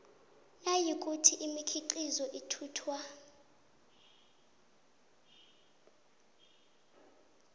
nayikuthi imikhiqizo ithuthwa